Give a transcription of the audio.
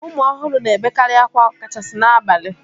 Ụmụ ọhụrụ na-ebekarị akwa ọkachasi n'abalị